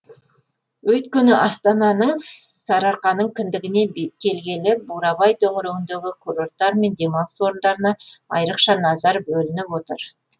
өйткені астананың сарыарқаның кіндігіне келгелі бурабай төңірегіндегі курорттар мен демалыс орындарына айырықша назар бөлініп отыр